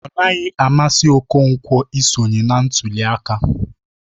Ọnaghị amasị Okonkwo isonye na ntuli aka.